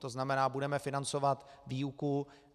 To znamená, budeme financovat výuku.